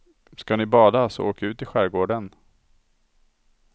Ska ni bada så åk ut i skärgården.